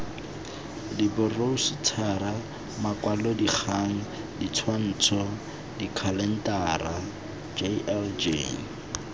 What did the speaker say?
diboroutšhara makwalodikgang ditshwantsho dikhalentara jljl